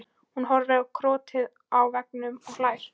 Hún horfir á krotið á veggnum og hlær.